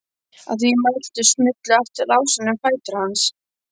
Að því mæltu smullu aftur lásarnir um fætur hans.